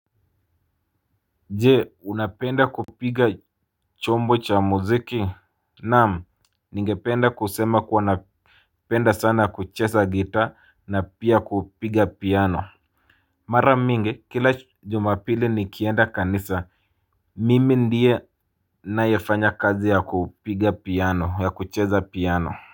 Je, unapenda kupiga chombo cha muziki? Naam. Ningependa kusema kuwa napenda sana kucheza gitaa na pia kupiga piano. Mara mingi kila jumapili nikienda kanisa mimi ndiye ninayefanya kazi ya kupiga piano, ya kucheza piano.